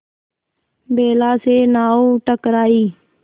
बेला से नाव टकराई